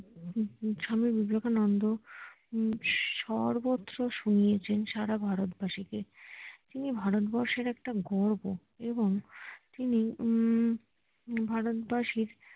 হম স্বামী বিবেকানন্দ হম সর্বত্র শুনিয়েছেন সারা ভারতবাসীকে তিনি ভারতবর্ষের একটা গর্ব এবং তিনি হম ভারতবাসীর